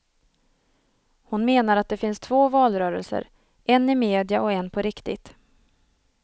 Hon menar att det finns två valrörelser, en i media och en på riktigt.